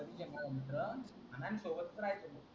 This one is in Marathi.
मित्र अन आम्ही सोबत राहायचो